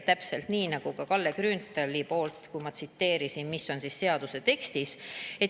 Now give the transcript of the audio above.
Täpselt nii nagu oli Kalle Grünthali, mida ma tsiteerisin, et mis on seaduse tekstis.